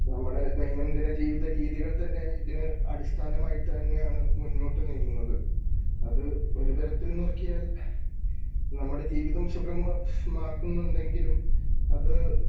നമ്മുടെ ദൈനംദിന ജീവിത രീതികൾ തന്നെ ഇതിന് അടിസ്ഥാനമായിട്ട് തന്നെയാണ് മുന്നോട്ട് നീങ്ങുന്നത്. അത് ഒരു തരത്തിൽ നോക്കിയാൽ നമ്മുടെ ജീവിതം സുഗമമാക്കുന്നുണ്ടെങ്കിലും അത്